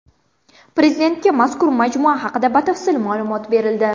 Prezidentga mazkur majmua haqida batafsil ma’lumot berildi.